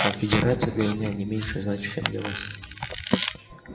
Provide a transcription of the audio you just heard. конфедерация для меня не меньше значит чем для вас